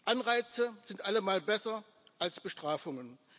Anreize sind allemal besser als Bestrafungen.